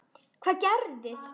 Hvað gerist?